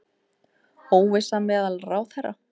Óvissa meðal ráðherra